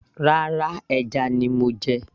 rárá, ẹja ni mo jẹ